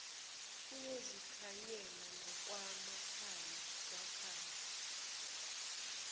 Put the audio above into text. kuyozikhanyela nakwamakhanya kwakhanya